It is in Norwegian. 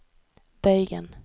bøygen